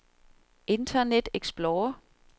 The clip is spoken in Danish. internet explorer